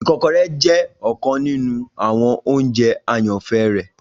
ikokore jẹ ọkan ninu awọn ounjẹ ayanfẹ rẹ